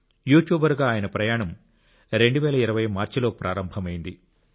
యూట్యూబర్గా ఆయన ప్రయాణం 2020 మార్చిలో ప్రారంభమైంది